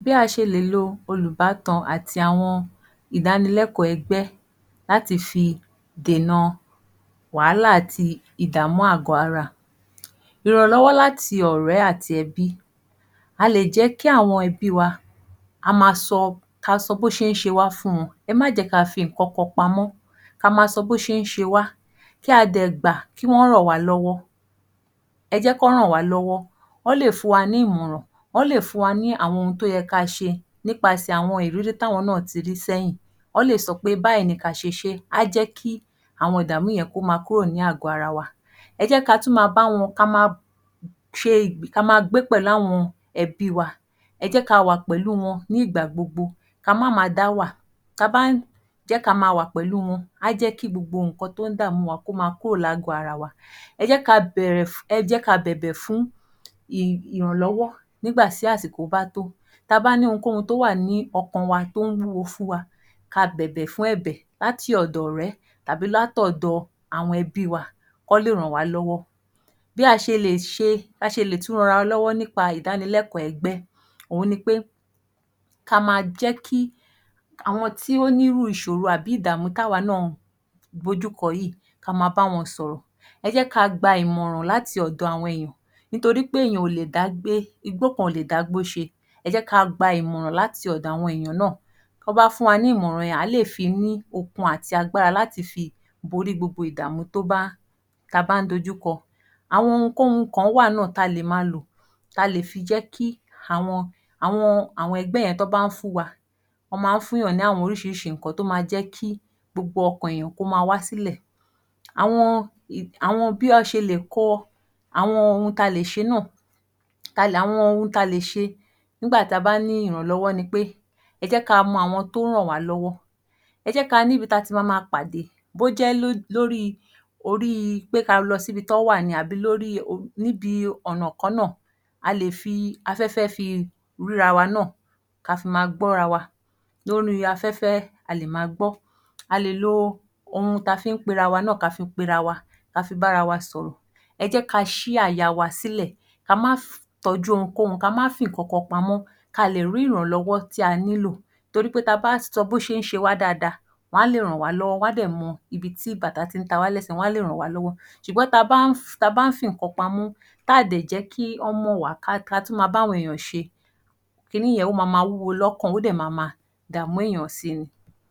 Bí a ṣe lè lo olùbátan àti àwọn ìdánilẹ́kọ̀ọ́ ẹgbẹ́ láti fi dèna wàhálà àti ìdààmú àgọ́-ara. Ìrànlọ́wọ́ láti ọ̀rẹ́ àti ẹbí. A lè jẹ́ kí àwọn ẹbí wa ka sọ bó ṣe ń ṣe wá fún wọn. Ẹ má jẹ́ ka fi nǹkan kan pamọ́, ka ma sọ bó ṣe ń ṣe wá, kí a dẹ̀ gbà kí wọ́n ràn wá lọ́wọ́. Ẹ jẹ́ kọ́ ràn wá lọ́wọ́. Wọ́n lè fún wa ní ìmọ̀ràn, wọ́n lè fún wa ní àwọn ohun tó yẹ ká ṣe nípasẹ̀ àwọn ìrírí tí àwọn náà ti rí sẹ́yìn. Wọ́n lè sọ pé báyìí ni ka ṣe ṣé, a jẹ́ kí kí àwọn ìdààmú yẹn kó ma kúrò ní àgọ́-ara. Ka ma gbé pẹ̀lú àwọn ẹbí wa ẹ jẹ́ ka wà pẹ̀lú wọn ní ìgbà gbogbo, ka má ma dá wà. Ta bá ń jẹ́ ka ma wà pẹ̀lú wọn, a jẹ́ kí gbogbo nǹkan tó ń dààmú wa kó ma kúrò lágọ̀ọ́-ara wa. Ẹ jẹ́ ka bẹ̀bẹ̀ fún ìrànlọ́wọ́ nígbà tí àsìkò bá tó. Ta bá ní ohun kóhun tó wà ní ọkàn wa tó ń wúwo fún wa, ka bẹ̀bẹ̀ fún ẹ̀bẹ̀ láti ọ̀dọ̀ ọ̀rẹ́ tàbí látọ̀dọ̀ àwọn ẹbí wa kọ́ lè ràn wá lọ́wọ́. Bí a ṣe lè tún ran ara wa lọ́wọ́ ní nípa ìdánilẹ́kọ̀ọ́ ẹgbẹ́? Òhun ni pé ka ma jẹ́ kí àwọn tí ó ní irú ìṣòro àbí ìdààmú tá wa náà dojú kọ yìí ka ma bá wọn sọ̀rọ̀. Ẹ jẹ́ ka gba ìmọ̀ràn láti ọ̀dọ̀ àwọn èèyàn nítorí pé èèyàn ò lè dá gbé, igbó kan ò lè dágbó ṣe, ẹ jẹ́ ka gba ìmọ̀ràn láti ọ̀dọ̀ àwọn ènìyàn náà. Tó bá fún wa ní ìmọ̀ràn yẹn, à á lè fi ní okun àti agbára láti fi borí gbogbo ìdààmú ta bá ń dojú kọ. Àwọn ohun kóhun kan wà náà ta lè ma lò ta lè fi jẹ́ kí àwọn ẹgbẹ́ yẹn tó bá fún wa, wọ́n máa ń fún èèyàn ní oríṣiríṣi nǹkan tó ma jẹ́ kí gbogbo ọkàn èèyàn kó ma wá sílẹ̀. Àwọn ohun ta lè ṣe nígbà ta bá ní ìrànlọ́wọ́ ni pé: ẹ jẹ́ ka mọ àwọn tó ràn wá lọ́wọ́, ẹ jẹ́ ka níbi tati ma ma pàdé bó jẹ́ lórí ka lọ síbi tí wọ́n wà ní tàbí níbi ọ̀nà kan náà. A lè fi afẹ́fẹ́ fi ríra wa náà, ka fi ma gbọ́ra wa afẹ́fẹ́ a lè ma gbọ́. A lè lo ohun ta fi ń pera wa náà ka fi pera wa, ka fi bára wa sọ̀rọ̀. Ẹ jẹ́ ka sí àyà wa sílẹ̀, ka má tọ́jú ohun kóhun, ka má fi nǹkan kan pamọ́ ka lè rí ìrànlọ́wọ́ tí a nílò. Torí pé ta bá sọ bó ṣe ń ṣe wá dáadáa, wọn á lè ràn wá lọ́wọ́, wọn á dẹ̀ mọ ibi tí bàtà tí ń ta wá lẹ́sẹ̀ wọn á lè ràn wá lọ́wọ́. Ṣùgbọ́n ta bá ń fi nǹkan pamọ́, tá à dẹ̀ jẹ́ kí wọ́n mọ̀ wá, ka tún ma bá àwọn èèyàn ṣe, kí ni yẹn ó ma ma wúwo lọ́kàn ó dẹ̀ ma ma dààmú èèyàn si ni.